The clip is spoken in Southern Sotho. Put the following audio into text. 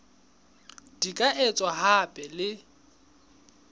di ka etswa hape le